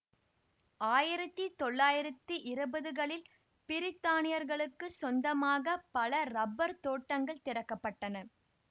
ஆயிரத்தி தொள்ளாயிரத்தி இருபதுகளில் பிரித்தானியர்களுக்குச் சொந்தமாக பல ரப்பர் தோட்டங்கள் திறக்கப் பட்டன